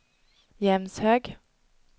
Jämshög